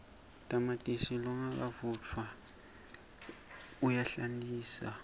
tamatisi longavutfwaneja uyahlantisa